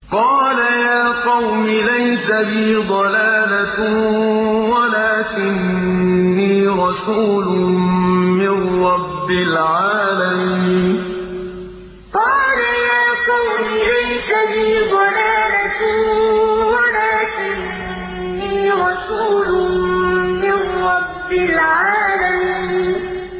قَالَ يَا قَوْمِ لَيْسَ بِي ضَلَالَةٌ وَلَٰكِنِّي رَسُولٌ مِّن رَّبِّ الْعَالَمِينَ قَالَ يَا قَوْمِ لَيْسَ بِي ضَلَالَةٌ وَلَٰكِنِّي رَسُولٌ مِّن رَّبِّ الْعَالَمِينَ